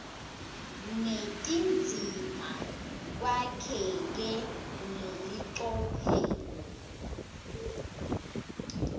netindzima kwakheke ngelicophelo